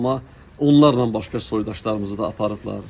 Amma onlarla başqa soydaşlarımızı da aparıblar.